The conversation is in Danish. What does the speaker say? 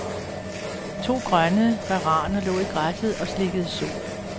To grønne varaner lå i græsset og slikkede sol.